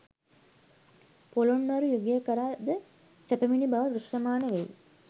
පොළොන්නරු යුගය කරා ද සපැමිණි බව දෘෂ්‍යමාන වෙයි.